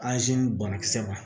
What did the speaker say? banakisɛ ma